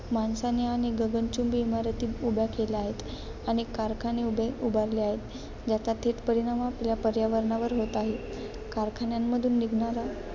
माणसाने अनेक गगनचुंबी इमारती उभ्या केल्या आहेत. अनेक कारखाने उभेउभारले आहेत. ज्याचा थेट परिणाम आपल्या पर्यावरणावर होत आहे. कारखान्यांमधून निघणारा